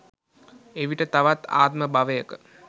එවිට තවත් ආත්ම භවයක